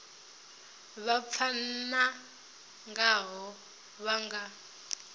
vha pfana ngaho vha nga